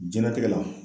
Jɛnatigɛ la